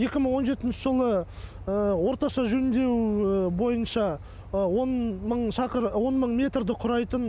екі мың он жетінші жылы орташа жөндеу бойынша он мың метрді құрайтын